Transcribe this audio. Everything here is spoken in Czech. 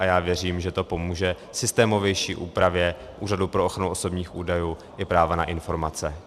A já věřím, že to pomůže systémovější úpravě Úřadu pro ochranu osobních údajů i práva na informace.